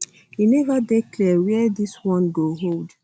e neva dey clear wia dis one one go hold